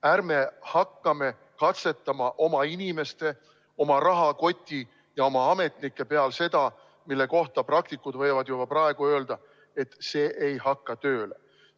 Ärme hakkame katsetama oma inimeste, oma rahakoti ja oma ametnike peal seda, mille kohta praktikud võivad juba praegu öelda, et see ei hakka tööle.